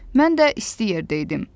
Mən də isti yerdəydim.